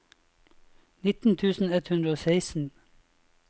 nitten tusen ett hundre og seksten